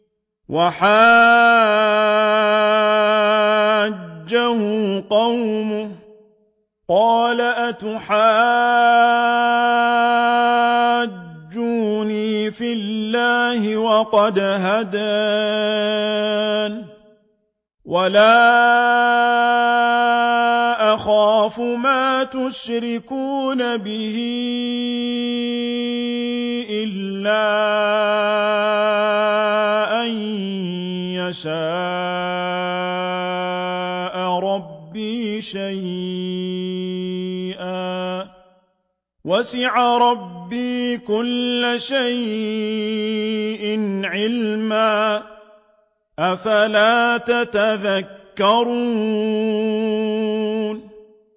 وَحَاجَّهُ قَوْمُهُ ۚ قَالَ أَتُحَاجُّونِّي فِي اللَّهِ وَقَدْ هَدَانِ ۚ وَلَا أَخَافُ مَا تُشْرِكُونَ بِهِ إِلَّا أَن يَشَاءَ رَبِّي شَيْئًا ۗ وَسِعَ رَبِّي كُلَّ شَيْءٍ عِلْمًا ۗ أَفَلَا تَتَذَكَّرُونَ